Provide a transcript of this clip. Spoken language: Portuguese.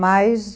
Mas...